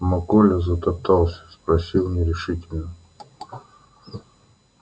но коля затоптался спросил нерешительно